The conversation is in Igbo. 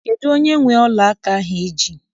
Kedụ onye nwe ọla aka ahụ I ji?